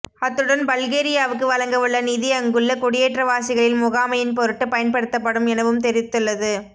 அத்துடன் பல்கேரியாவுக்கு வழங்கவுள்ள நிதி அங்குள்ள குடியேற்றவாசிகளின் முகாமையின் பொருட்டு பயன்படுத்தப்படும் எனவும் தெரிவித்துள்ளது